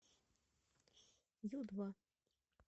ю два